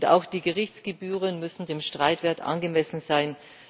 Auch die Gerichtsgebühren müssen dem Streitwert angemessen sein.